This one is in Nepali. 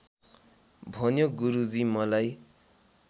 भन्यो गुरुजी मलाई